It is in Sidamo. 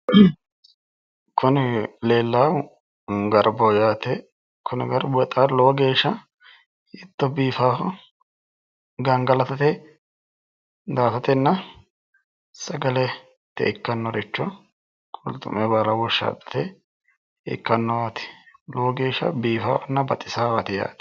Kuni leellaahu garbaho yaate. Kuni garbu bexaami lowo geeshsha hiitto biifaho! Gangalatate daa"atatenna sagalete ikkannoricho qulxu'me baala woshshaaxxate ikkannowaati. Lowo geeshsha biifaawanna baxisawaati yaate.